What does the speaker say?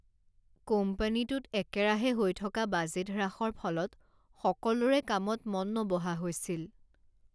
কোম্পানীটোত একেৰাহে হৈ থকা বাজেট হ্ৰাসৰ ফলত সকলোৰে কামত মন নবহা হৈছিল।